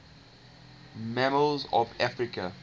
mammals of africa